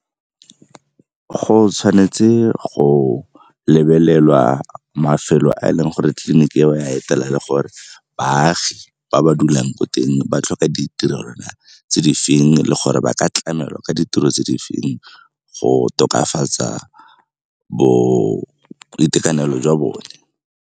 Go tshwanetse go lebelelwa mafelo a e leng gore tleliniki eo ya etela le gore baagi ba ba dulang ko teng ba tlhoka ditirelo tse di feng le gore ba ka tlamela ka ditiro tse di feng go tokafatsa boitekanelo jwa bone.